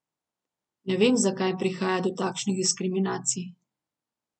Ne vem, zakaj prihaja do takšnih diskriminacij.